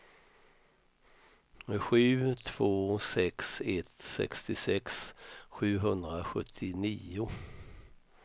sju två sex ett sextiosex sjuhundrasjuttionio